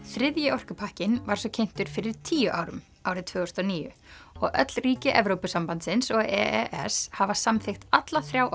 þriðji orkupakkinn var svo kynntur fyrir tíu árum árið tvö þúsund og níu og öll ríki Evrópusambandsins og e s hafa samþykkt alla þrjá